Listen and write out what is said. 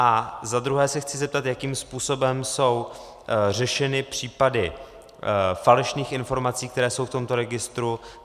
A zadruhé se chci zeptat, jakým způsobem jsou řešeny případy falešných informací, které jsou v tomto registru.